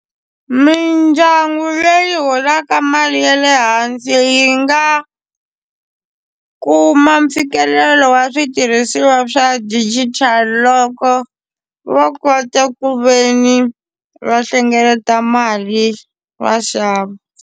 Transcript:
Midyangu leyi holaka mali ya le hansi yi nga kuma mfikelelo wa switirhisiwa swa digital loko va kota ku ve ni va hlengeleta mali va xava.